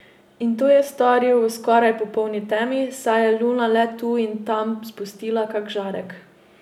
In to je storil v skoraj popolni temi, saj je luna le tu in tam spustila kak žarek.